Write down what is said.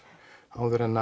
áður en